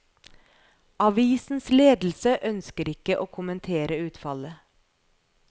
Avisens ledelse ønsker ikke å kommentere utfallet.